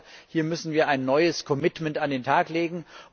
Ich glaube, hier müssen wir ein neues Commitment an den Tag legen.